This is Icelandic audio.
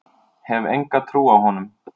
Hef enga trú á honum.